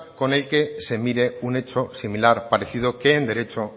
con el que se mire un hecho similar parecido que en derecho